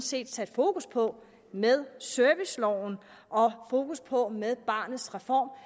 set sat fokus på med serviceloven og fokus på med barnets reform